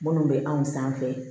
Minnu bɛ anw sanfɛ